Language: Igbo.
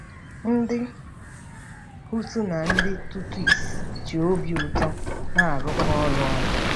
Ndị Hutu na ndị Tutsi ji obi ụtọ na-arụkọ ọrụ ọnụ